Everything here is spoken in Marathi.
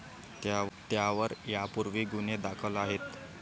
त्यावर यापूर्वीही गुन्हे दाखल आहेत.